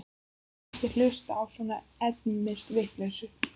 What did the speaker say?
Sagðist ekki hlusta á svona endemis vitleysu.